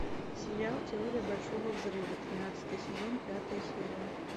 сериал теория большого взрыва тринадцатый сезон пятая серия